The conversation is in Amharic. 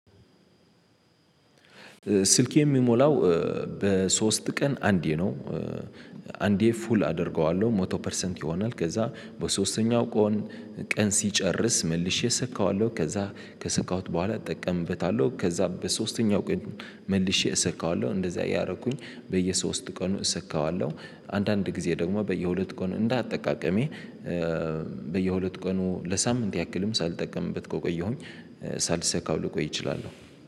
ስልኬ የሚሞላው በሶስት ቀን አንዴ ነው። አንዴ ፉል አደርገዋለሁ መቶ ፐርሰንት ይሆናል ከዛ በሶስተኛው ቀን ሲጨርስ መልሼ ሰካዋለሁ። ከዛ ከሰካሁት በኋላ እጠቀምበታለሁ ከዛ በሶስተኛው ቀን መልሼ እሰካዋለሁ እንደዛ እያረኩኝ በየሶስት ቀኑ እሰካዋለሁ። አንዳንድ ጊዜ ደግሞ በየሁለት ቀኑ እንደ አጠቃቀሜ በየሁለት ቀኑ ለሳምንት ያክልም ሳልጠቀምበት ቆየሁኝ። ሳልሰካው ልቆይ እችላለሁ።